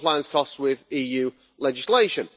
costs with EU legislation.